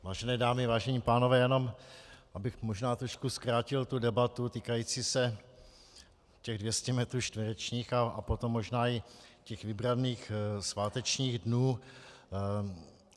Vážené dámy, vážení pánové, jenom abych možná trošku zkrátil tu debatu týkající se těch 200 metrů čtverečních a potom možná i těch vybraných svátečních dnů.